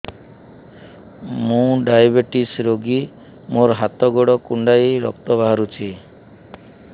ମୁ ଡାଏବେଟିସ ରୋଗୀ ମୋର ହାତ ଗୋଡ଼ କୁଣ୍ଡାଇ ରକ୍ତ ବାହାରୁଚି